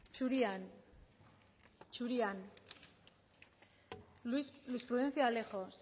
zurian zurian luis luis prudencio alejos